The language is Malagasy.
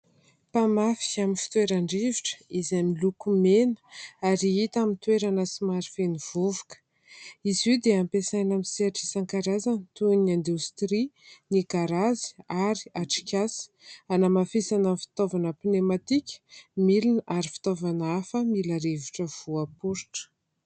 Mpamatsy amin'ny fitoeran-drivotra izay miloko mena ary hita amin'ny toerana somary feno vovoka izy io moa dia ampesaina amin'ny sehatr'isan-karazany toy ny indostria ny garazy ary atrikasa hanamafisana amin'ny fitaovana mpinematika milona ary fitaovana hafa mila rivotra voaporitra.